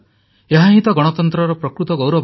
ଏହାହିଁ ତ ଗଣତନ୍ତ୍ରର ପ୍ରକୃତ ଗୌରବ